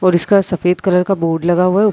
पर इसका सफ़ेद कलर का बोर्ड लगा हुआ है।